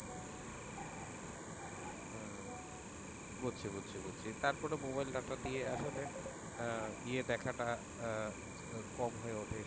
বুঝছি বুঝছি বুঝছি তারপরে মোবাইল টা দিয়ে আসলে ইয়ে দেখা টা আহ কম হয়ে ওঠে,